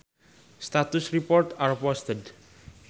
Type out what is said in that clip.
Status reports are posted.